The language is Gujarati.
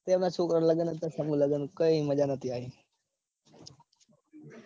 એમના છોકરા ના લગન હતા. સમુહલગન કઈ મજા નતી આયી.